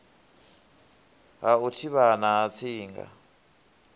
ha u thivhana ha tsinga